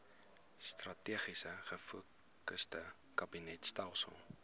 strategies gefokusde kabinetstelsel